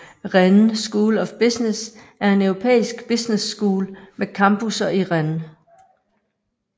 Rennes School of Business er en europæisk business school med campusser i Rennes